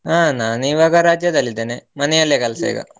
ಹ ನಾನಿವಾಗ ರಜದಲ್ಲಿ ಇದ್ದೇನೆ, ಮನೆಯಲ್ಲೇ ಕೆಲ್ಸ ಈಗ.